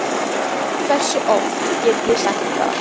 Hversu oft get ég sagt það?